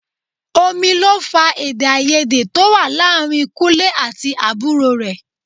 Omi ló fa èdè-áiyedé tó wà láàárín Kúnlẹ́ àti àbúrò rẹ̀.